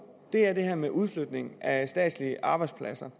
er det her med udflytning af statslige arbejdspladser